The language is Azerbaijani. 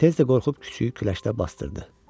Tez də qorxub küçüyü küləşdə basdırdı.